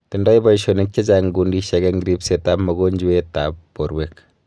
Tindoi paishonik chechang kundishek eng ripset ap mogonjwet ap porwek